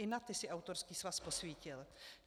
I na ty si autorský svaz posvítil.